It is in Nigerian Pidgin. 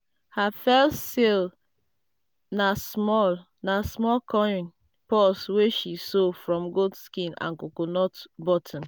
her first sale na small na small coin purse wey she sew from goat skin and coconut button.